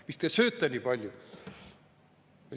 Mis te sööte nii palju?!